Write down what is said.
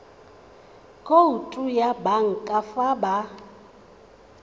khoutu ya banka fa ba